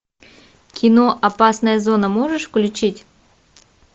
кино опасная зона можешь включить